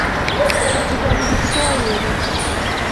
у тебя будет все о еве